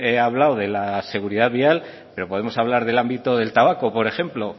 he hablado de la seguridad vial pero podemos hablar del ámbito del tabaco por ejemplo